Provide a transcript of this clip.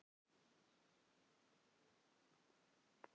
Dilja, hver er dagsetningin í dag?